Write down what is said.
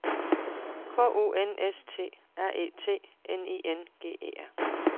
K U N S T R E T N I N G E R